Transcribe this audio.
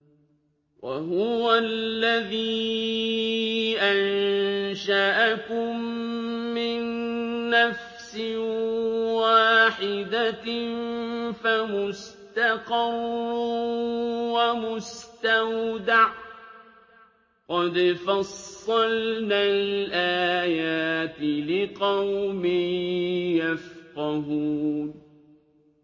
وَهُوَ الَّذِي أَنشَأَكُم مِّن نَّفْسٍ وَاحِدَةٍ فَمُسْتَقَرٌّ وَمُسْتَوْدَعٌ ۗ قَدْ فَصَّلْنَا الْآيَاتِ لِقَوْمٍ يَفْقَهُونَ